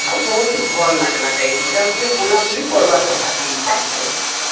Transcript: ଆଉ ବହୁତ ଭଲ ଲାଗଲା ଯାଇଥିନୁ ଯେ ଆଉ ଟିକେ ବୁଲା ବୁଲି କରିବାର କଥା ବି ଏଇ time ରେ